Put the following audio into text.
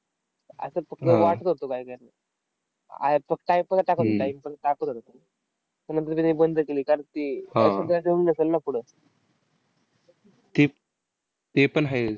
ते तेपण आहे.